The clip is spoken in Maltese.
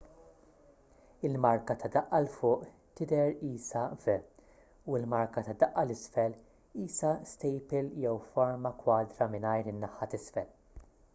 il-marka ta' daqq l fuq tidher qisha v u l-marka ta' daqq l isfel qisha stejpil jew forma kwadra mingħajr in-naħa t'isfel